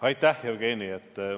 Aitäh, Jevgeni!